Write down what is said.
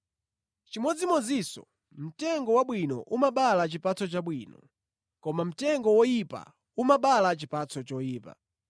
Chimodzimodzinso mtengo wabwino umabala chipatso chabwino, koma mtengo woyipa umabala chipatso choyipa.